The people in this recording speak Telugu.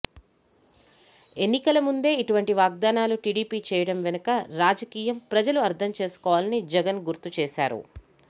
ఎన్నికల ముందే ఇటువంటి వాగ్దానాలు టీడీపీ చేయడం వెనుక రాజకీయం ప్రజలు అర్థం చేసుకోవాలని జగన్ గుర్తు చేశారు